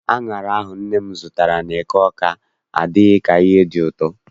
Aṅara ahụ nne m zụtara n'eke Awka adịghị ka ihe dị ụtọ.